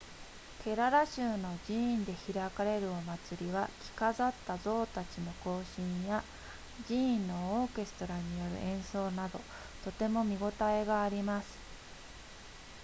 ケララ州の寺院で開かれるお祭りは着飾った象たちの行進や寺院のオーケストラによる演奏などとても見応えがあります